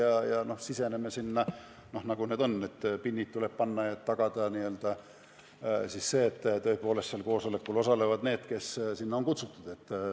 Ja sinna sisenetakse näiteks PIN-i abil, et tagada, et tõepoolest koosolekul osalevad vaid need, kes sinna on kutsutud.